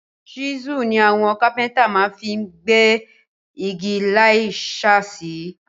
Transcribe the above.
Ṣísù ni àwon Kápẹ́ńtà ma fi n gbẹ́ igi láì sàsísé